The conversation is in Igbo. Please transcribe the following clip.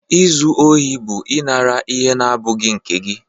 Izu ohi bụ ịnara ihe na-abụghị nke gị.